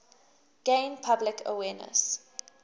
gain public awareness